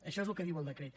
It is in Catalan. això és el que diu el decret